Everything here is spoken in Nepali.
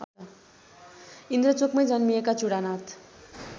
इन्द्रचोकमै जन्मिएका चुडानाथ